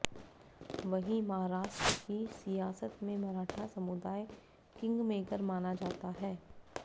वहीं महाराष्ट्र की सियासत में मराठा समुदाय किंगमेकर माना जाता है